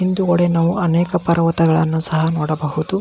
ಹಿಂದುಗಡೆ ನಾವು ಅನೇಕ ಪರ್ವತಗಳನ್ನು ಸಹ ನೋಡಬಹುದು.